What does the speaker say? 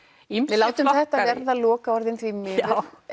við látum þetta verða lokaorðin því miður